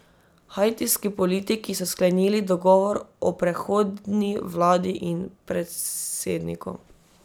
Haitijski politiki so sklenili dogovor o prehodni vladi in predsedniku.